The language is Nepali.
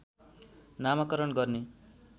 नामकरण गर्ने